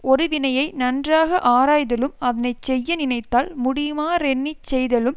ஒருவினையை நன்றாக ஆராய்தலும் அதனை செய்ய நினைத்தால் முடியுமாறெண்ணிச் செய்தலும்